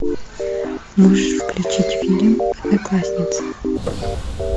можешь включить фильм одноклассницы